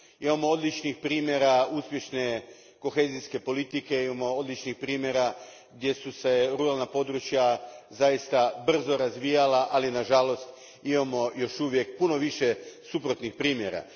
Imamo odlične primjere uspješne kohezijske politike, imamo odlične primjere gdje su se ruralna području zaista brzo razvijala, ali nažalost imamo još uvijek puno više suprotnih primjera.